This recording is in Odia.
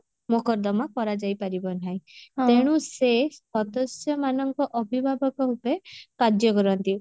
ମୋକଦମା କରାଯାଇ ପାରିବ ନାହିଁ ତେଣୁ ସେ ସଦସ୍ୟ ମାନଙ୍କ ଅଭିଭାବକ ରୂପେ କାର୍ଯ୍ୟ କରନ୍ତି